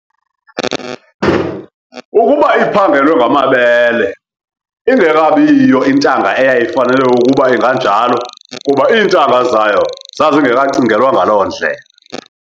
ukuba iphangelwe ngamabele, ingekabiyiyo intanga eyayifanele ukuba inganjalo kuba iintanga zayo zazingekacingelwa ngalo ndlela.